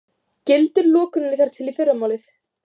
Gildir lokunin þar til í fyrramálið